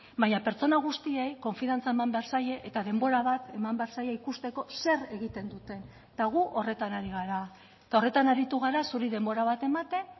baina pertsona guztiei konfiantza eman behar zaie eta denbora bat eman behar zaie ikusteko zer egiten duten eta gu horretan ari gara eta horretan aritu gara zuri denbora bat ematen